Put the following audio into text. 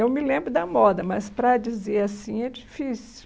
Eu me lembro da moda, mas para dizer assim é difícil.